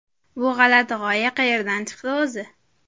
Bu g‘alati g‘oya qayerdan chiqdi o‘zi?